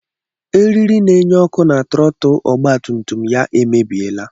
Eriri n'enye ọkụ na trọtul ọgba tum tum ya emebiela.